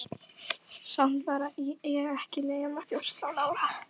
Samt var ég ekki nema fjórtán ára.